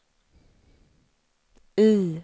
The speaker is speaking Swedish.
I